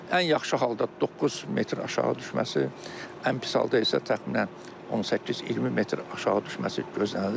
Ən yaxşı halda 9 metr aşağı düşməsi, ən pis halda isə təxminən 18-20 metr aşağı düşməsi gözlənilir.